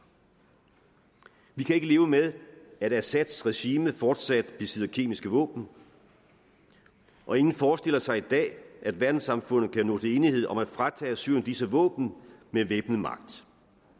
vi kan ikke leve med at assads regime fortsat besidder kemiske våben og ingen forestiller sig i dag at verdenssamfundet kan nå til enighed om at fratage syrien disse våben med væbnet magt